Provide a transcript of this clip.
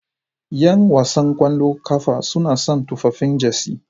Yan wasan ƙwallon ƙafa suna sa tufafin Jersey.